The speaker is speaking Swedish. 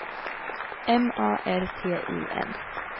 M A R T I N